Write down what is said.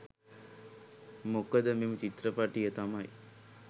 මොකද මෙම චිත්‍රපටය තමයි